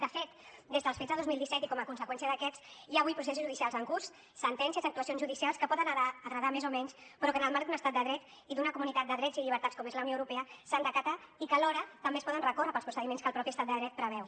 de fet des dels fets de dos mil disset i com a conseqüència d’aquests hi ha avui processos judicials en curs sentències actuacions judicials que poden agradar més o menys però que en el marc d’un estat de dret i d’una comunitat de drets i llibertats com és la unió europea s’han d’acatar i que alhora també es poden recórrer pels procediments que el mateix estat de dret preveu